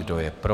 Kdo je pro?